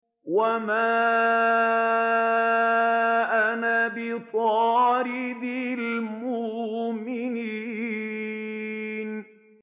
وَمَا أَنَا بِطَارِدِ الْمُؤْمِنِينَ